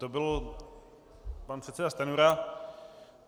To byl pan předseda Stanjura.